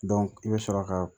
i bɛ sɔrɔ ka